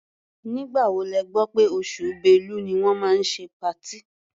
Nígbà wo lẹ gbọ́ pé oṣù Bẹ́lu ni wọ́n máa ṣe patí?